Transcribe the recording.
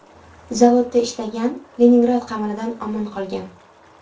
Zavodda ishlagan, Leningrad qamalidan omon qolgan.